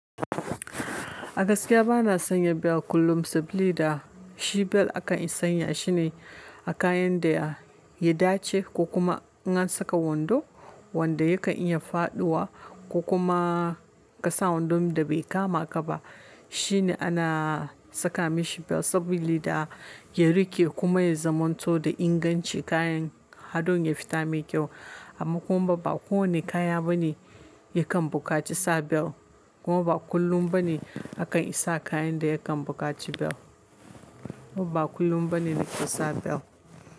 A gaskiya bana sanya belt kullum saboda shi belt aka iya sanya shi ne a kayan da ya dace ko kuma in an saka wando wanda yakan iya faɗuwa ko kuma ka sa wando da bai kama ka ba. Shi ne ana saka mishi belt saboda da ya riƙe kuma ya zamanto da inganci kayan hadon ya fita mai kyau. Amma kuma ba kowane kaya bane yakan buƙaci sa belt kuma ba kullum bane akan isa kayan da yakan buƙaci belt. Kuma ba kullum bane ne ka sa belt.